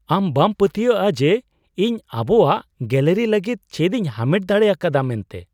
ᱟᱢ ᱵᱟᱢ ᱯᱟᱹᱛᱭᱟᱜᱼᱟ ᱡᱮ ᱤᱧ ᱟᱵᱚᱣᱟᱜ ᱜᱮᱞᱟᱨᱤ ᱞᱟᱹᱜᱤᱫ ᱪᱮᱫᱤᱧ ᱦᱟᱢᱮᱴ ᱫᱟᱲᱮ ᱟᱠᱟᱫᱟ ᱢᱮᱱᱛᱮ !